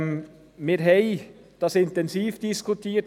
Wir haben das intensiv diskutiert.